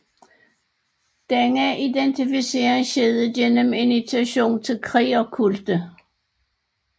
Denne identificering skete gennem initiation til krigerkulte